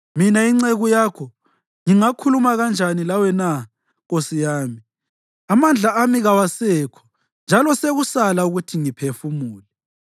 Mina inceku yakho, ngingakhuluma kanjani lawe na, nkosi yami? Amandla ami kawasekho njalo sekusala ukuthi ngiphefumule.”